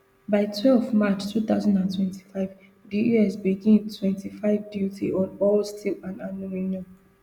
by twelve march two thousand and twenty-five di us begin twenty-five duty on all steel and aluminium